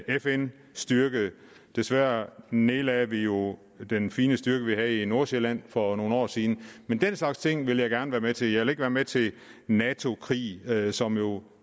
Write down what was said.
fn styrke desværre nedlagde vi jo den fine styrke vi havde i nordsjælland for nogle år siden den slags ting vil jeg gerne være med til jeg vil ikke være med til nato krige krige som jo